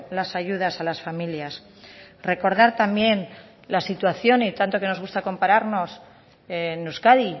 las ayudas a las familias recordar también la situación y tanto que nos gusta compararnos en euskadi